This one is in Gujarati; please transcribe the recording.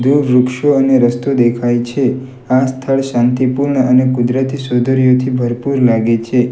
દૂર વૃક્ષો અને રસ્તો દેખાય છે આ સ્થળ શાંતિપૂર્ણ અને કુદરતી સૌંદર્યથી ભરપૂર લાગે છે.